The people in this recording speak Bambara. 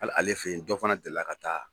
Ali ale fe yen dɔ fana delila ka taa